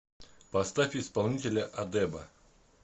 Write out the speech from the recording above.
поставь исполнителя адеба